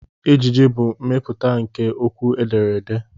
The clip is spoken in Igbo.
Ejije bụ mmepụta nke okwu edere ede.